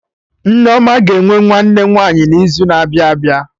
Nneoma ga-enwe nwanne nwaanyị n'izu na-abịa abịa